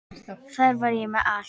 Þar var ég með allt.